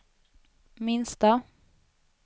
minsta